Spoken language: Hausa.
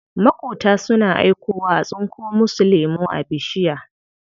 Maƙota suna aikowa a tsinko musu lemu a bishiya.